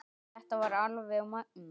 Þetta var alveg magnað!